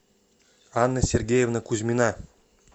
анна сергеевна кузьмина